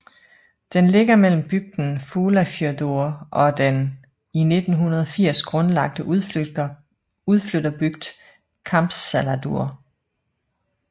Den ligger mellem bygden Fuglafjørður og den i 1980 grundlagte udflytterbygd Kambsdalur